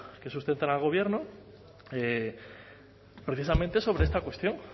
que sustentan al gobierno precisamente sobre esta cuestión